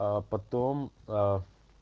а потом